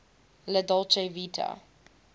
la dolce vita